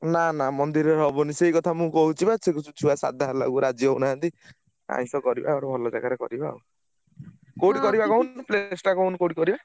ନା ନା ମନ୍ଦିରରେ ହବନି, ସେଇକଥା ମୁଁ କହୁଛି ବା ଛୁଆ ସାଧା ହେଲାକୁ ରାଜି ହଉନାହାନ୍ତି। ଆଇଂଷ କରିବା ଆଉ ଭଲ ଜାଗାରେ କରିବା। କୋଉଠି କରିବା କହୁନୁ place ଟା କହୁନୁ କୋଉଠି କରିବା?